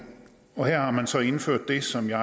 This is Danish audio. her har man så indført det som jeg